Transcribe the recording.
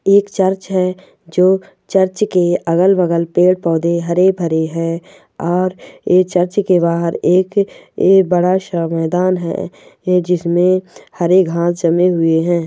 एक चर्च है जो चर्च के अगल बगल पेड पड़े हरे भरे हैं और ये चर्च क बहार एक ऐ बारे सा मैदान है जिसमे हरे घास जमे हुए हैं।